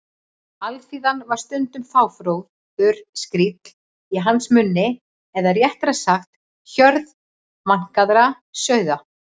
Alþýðan var stundum fáfróður skríll í hans munni eða réttara sagt: hjörð vankaðra sauða.